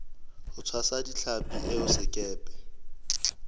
ho tshwasa ditlhapi eo sekepe